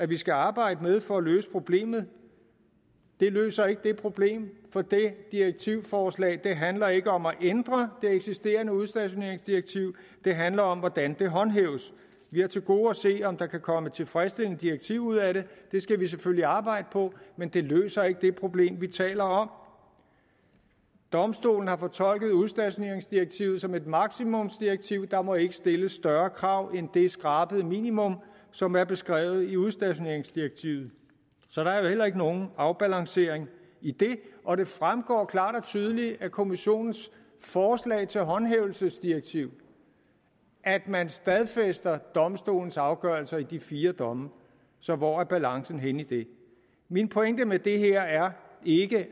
vi skal arbejde med for at løse problemet det løser ikke det problem for det direktivforslag handler ikke om ændre det eksisterende udstationeringsdirektiv det handler om hvordan det håndhæves vi har til gode at se om der kan komme et tilfredsstillende direktiv ud af det det skal vi selvfølgelig arbejde på men det løser ikke det problem vi taler om domstolen har fortolket udstationeringsdirektivet som et maksimumsdirektiv og der må ikke stilles større krav end det skrabede minimum som er beskrevet i udstationeringsdirektivet så der er jo heller ikke nogen afbalancering i det og det fremgår klart og tydeligt af kommissionens forslag til et håndhævelsesdirektiv at man stadfæster domstolens afgørelser i de fire domme hvor er balancen henne i det min pointe med det her er ikke